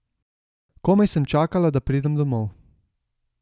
Komaj sem čakala, da pridem domov.